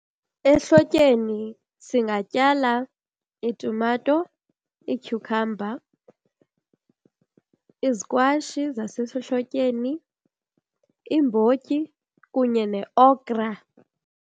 Ehlotyeni singatyala iitumato, iityhukhamba, izikwashi zasehlotyeni, iimbotyi kunye neokra.